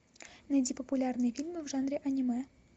найди популярные фильмы в жанре аниме